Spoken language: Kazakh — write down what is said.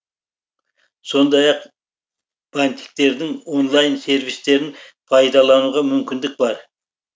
сондай ақ бантиктердің онлайн сервистерін пайдалануға мүмкіндік бар